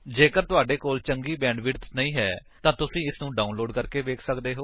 ਜੇਕਰ ਤੁਹਾਡੇ ਕੋਲ ਚੰਗੀ ਬੈਂਡਵਿਡਥ ਨਹੀਂ ਹੈ ਤਾਂ ਤੁਸੀ ਇਸਨੂੰ ਡਾਉਨਲੋਡ ਕਰਕੇ ਵੇਖ ਸੱਕਦੇ ਹੋ